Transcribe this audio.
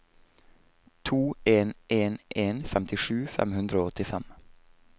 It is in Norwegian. to en en en femtisju fem hundre og åttifem